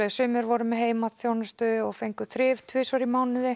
sumir voru með heimaþjónustu og fengu þrif tvisvar í mánuði